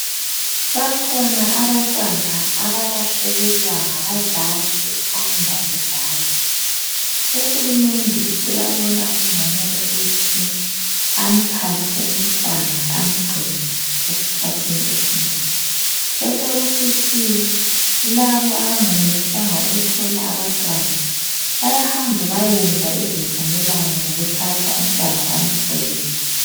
Bakhona abantwana abalahlekelwa ngabazali besanda kuzalwa uhulumende uyabona kungcono ukuthi amthathe umntwana angcine esikhathini esinengi kube sokusithi labo abangayenelisanga ukuthola abantwana bayahamba beyeyenza izivumelwano zokuthatha umntwana bamkhulise